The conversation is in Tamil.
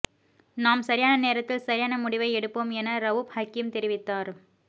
நாம் சரியான நேரத்தில் சரியான முடிவை எடுப்போம் என ரவூப் ஹக்கீம் தெரிவித்தார்